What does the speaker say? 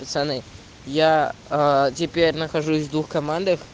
пацаны я теперь нахожусь в двух командах